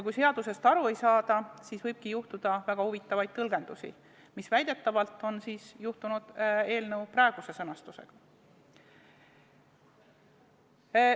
Kui seadusest aru ei saada, siis võibki tulla väga huvitavaid tõlgendusi, nagu väidetavalt on juhtunud eelnõu praeguse sõnastusega.